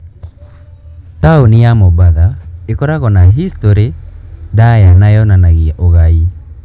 Taũni ya Mombasa ĩkoragwo na historĩ ndaaya na yonanagia ũgai.